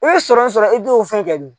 U ye sɔrɔ sɔrɔ i t'o fɛn kɛ dɔ.